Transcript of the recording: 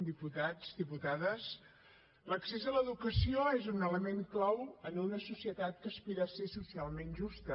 diputats diputades l’accés a l’educació és un element clau en una societat que aspira a ser socialment justa